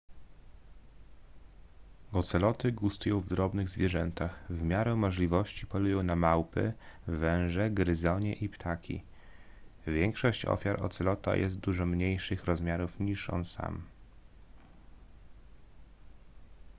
oceloty gustują w drobnych zwierzętach w miarę możliwości polują na małpy węże gryzonie i ptaki większość ofiar ocelota jest dużo mniejszych rozmiarów niż on sam